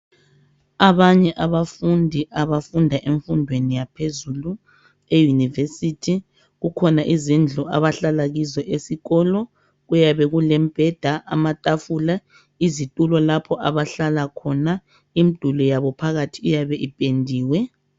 Abanye abafundi abafunda emfundweni yaphezulu eYunivesithi. Kukhona izindlu abahlala kizo ezikolo kuyabe kulembheda amatafula izitulo lapho abahlala khona. Imduli yabo phakathi iyabe ipendiwe.